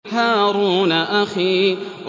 هَارُونَ أَخِي